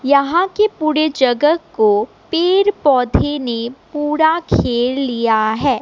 यहां के पुड़े जगह को पेड़ पौधे ने पुड़ा घेर लिया है।